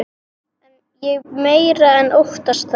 Ég meira en óttast það.